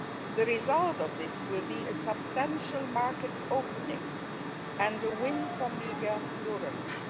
The result of this will be a substantial market opening and a win for media pluralism.